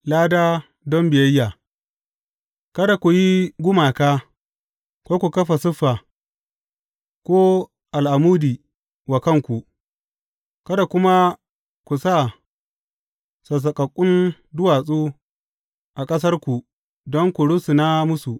Lada don biyayya Kada ku yi gumaka, ko ku kafa siffa, ko al’amudi wa kanku, kada kuma ku sa sassaƙaƙƙun duwatsu a ƙasarku don ku rusuna musu.